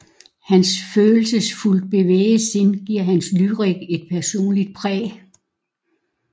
Hans følelsesfuldt bevægede sind giver hans lyrik et personligt præg